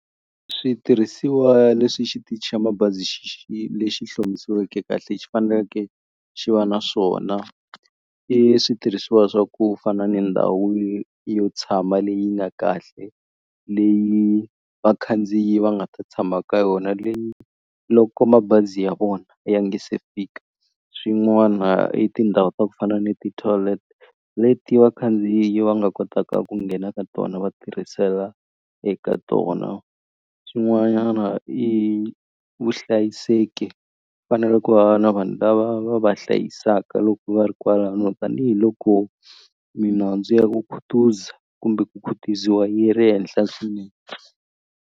Switirhisiwa leswi xitichi xa mabazi lexi hlomisiweke kahle xi fanele xi va na swona i switirhisiwa swa ku fana ni ndhawu yo tshama leyi nga kahle leyi vakhandziyi va nga ta tshama ka yona leyi loko mabazi ya vona ya nga se fika swin'wana i tindhawu ta ku fana ni ti-toilet leti vakhandziyi va nga kotaka ku nghena ka tona va tirhisela eka tona swin'wanyana i vuhlayiseki, fanele ku va na vanhu lava va va hlayisaka loko va ri kwalano tanihiloko minandzu ya ku khutuza kumbe ku khutaziwa yi ri henhla swinene.